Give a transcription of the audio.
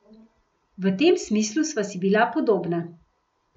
V tem smislu sva si bila podobna.